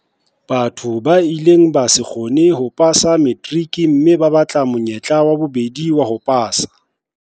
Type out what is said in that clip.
Batho ba ileng ba se kgone ho pasa materiki mme ba batla monyetla wa bobedi wa ho pasa.